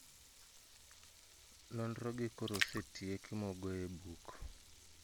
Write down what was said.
Nonro gi koro osetieki mo ogoye e book